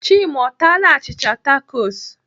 Chima ọ taaala achịcha takos?